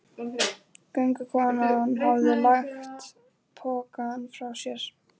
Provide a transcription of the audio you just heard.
Göngukonan hafði lagt pokann frá sér.